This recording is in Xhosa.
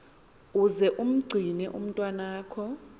uze umgcine umntwaka